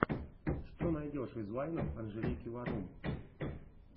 что найдешь из вайнов анжелики варум